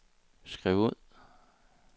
skriv ud